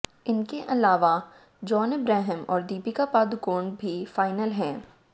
इनके अलावा John Abraham और दीपिका पादुकोण भी फाइनल हैं